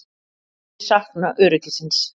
Mun sakna öryggisins.